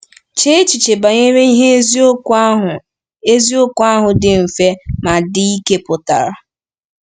Chee echiche banyere ihe eziokwu ahụ eziokwu ahụ dị mfe ma dị ike pụtara.